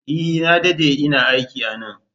E! Na dade ina aiki a nan.